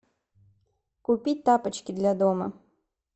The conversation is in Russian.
купить тапочки для дома